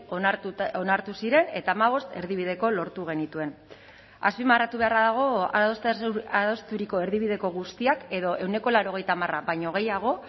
onartuta onartu ziren eta hamabost erdibideko lortu genituen azpimarratu beharra dago adosturiko erdibideko guztiak edo ehuneko laurogeita hamar baino gehiago